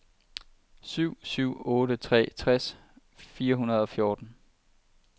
syv syv otte tre tres fire hundrede og fjorten